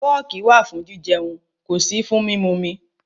Fọ́ọ̀kì wà fún jijẹun, kò sí fún mímumi.